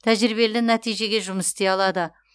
тәжірибелі нәтижеге жұмыс істей алады